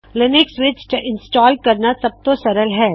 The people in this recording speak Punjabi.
ਲਿਨਿਕਸ ਵਿੱਚ ਇੰਸਟਾਲ ਕਰਣਾ ਸਬਤੋਂ ਸਰਲ ਹੈ